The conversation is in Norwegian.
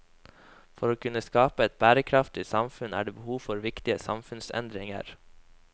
For å kunne skape et bærekraftig samfunn er det behov for viktige samfunnsendringer.